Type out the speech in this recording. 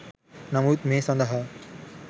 නමුත් මේ සඳහා